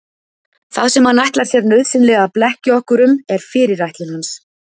Það sem hann ætlar sér nauðsynlega að blekkja okkur um er fyrirætlun hans.